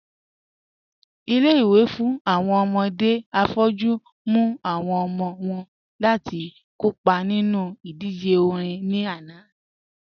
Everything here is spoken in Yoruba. Ilé-ìwé fún awọn ọmọdé afọ́jù mú awọn ọmọ wọn láti kọ́pa nínu idíjè orin ní ànà